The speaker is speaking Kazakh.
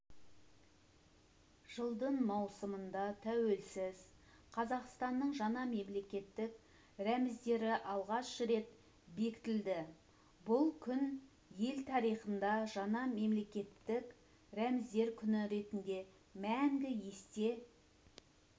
жылдың маусымында тәуелсіз қазақстанның жаңа мемлекеттік рәміздері алғаш рет бекітілді бұл күн ел тарихында жаңа мемлекеттік рәміздер күні ретінде мәңгі есте